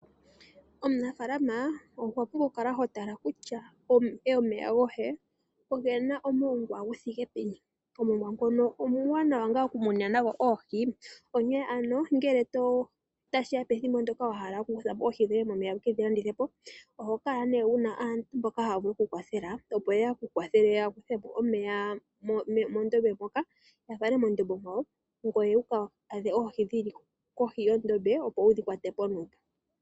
Omunafaalama owa pumbwa okutala kutya omeya goye omena omongwa gu thike peni . Omongwa omwaanawa oku muna nawo oohi. Onke ano ngele tashiya pethimbo ndyoka wahala okukuthamo oohi dhoye momeya wu ke dhi landithepo, ohokala ano wuna aantu mboka taya vulu oku kukwathela opo ye ku kwathele yakuthemo omeya mondombe moka ya fale mondombe yalwe , ngoye wu ka adhe oohi dhili kohi yondombe opo wu kedhi kwatemo nuupu.